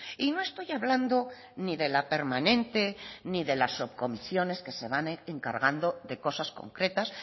y no estoy hablando ni de la permanente ni de las subcomisiones que se van encargando de cosas concretas